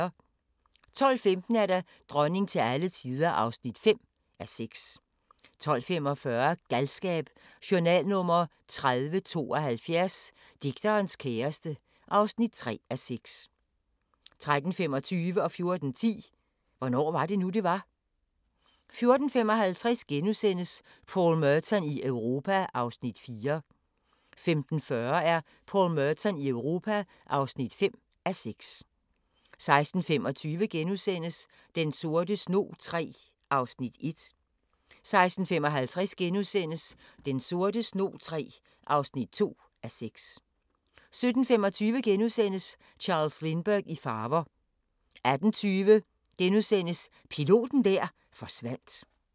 12:15: Dronning til alle tider (5:6) 12:45: Galskab: Journal nr. 3072 – digterens kæreste (3:6) 13:25: Hvornår var det nu, det var? * 14:10: Hvornår var det nu, det var? 14:55: Paul Merton i Europa (4:6)* 15:40: Paul Merton i Europa (5:6) 16:25: Den sorte snog III (1:6)* 16:55: Den sorte snog III (2:6)* 17:25: Charles Lindbergh i farver * 18:20: Piloten der forsvandt *